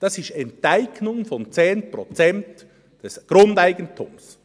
Das ist Enteignung von 10 Prozent des Grundeigentums.